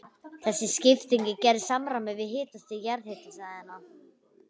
Þessi skipting er gerð í samræmi við hitastig jarðhitasvæðanna.